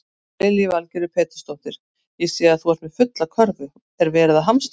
Lillý Valgerður Pétursdóttir: Ég sé að þú ert með fulla körfu, er verið að hamstra?